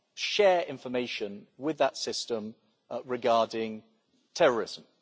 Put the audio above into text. share information with that system regarding terrorism.